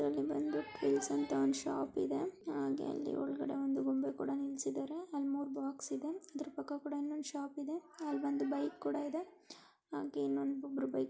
ಇಲ್ಲಿ ಬಂದು ಟೂಲ್ಸ್ ಅಂತ ಒಂದ್ ಶಾಪ್ ಇದೆ ಹಾಗೆ ಅಲ್ಲಿ ಒಳ್ಗದೆ ಒಂದು ಗೊಂಬೆ ಕೂಡ ನಿಲ್ಸಿದರೆ ಹಾಗೆ ಅಲ್ ಮೂರ್ ಬಾಕ್ಸ್ ಇದೆ ಅದ್ರ್ ಪಕ್ಕ ಕೂಡ ಇನ್ನೊಂದ್ ಶಾಪ್ ಇದೆ ಅಲ್ ಬಂದು ಬೈಕ್ ಕೂಡ ಇದೆ ಹಾಗೆ ಇನ್ನೊಂದ್ --